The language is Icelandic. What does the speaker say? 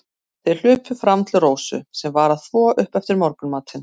Þeir hlupu fram til Rósu, sem var að þvo upp eftir morgunmatinn.